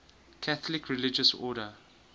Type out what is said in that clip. catholic religious order